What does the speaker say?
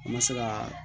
An ma se ka